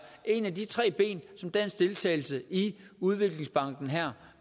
et af de tre ben som dansk deltagelse i udviklingsbanken her